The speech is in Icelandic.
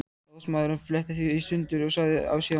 Ráðsmaðurinn fletti því í sundur og sagði síðan